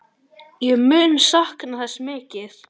Ég mun sakna þess mikið.